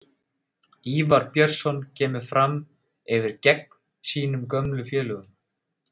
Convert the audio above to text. Ívar Björnsson kemur Fram yfir geng sínum gömlu félögum.